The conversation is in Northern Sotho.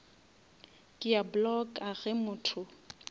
ke a blocka ge motho